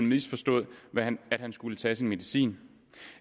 misforstået at han skulle tage medicin